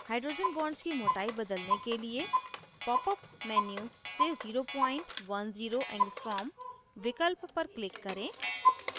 hydrogen bonds की मोटाई बदलने के लिए popअप menu से 010 a विकल्प पर click करें